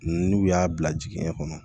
N'u y'a bila jiginɲɛ kɔnɔ